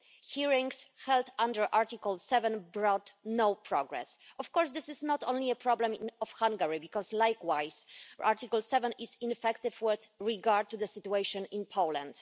Hearings held under Article 7 brought no progress. Of course, this is not only a problem in Hungary because, likewise, Article 7 is ineffective with regard to the situation in Poland.